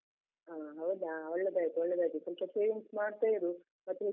ಆ ಹೌದಾ, ಒಳ್ಳೆದಾಯ್ತು ಒಳ್ಳೆದಾಯ್ತು ಸ್ವಲ್ಪ savings ಮಾಡ್ತಾ ಇರು ಮತ್ತೆ.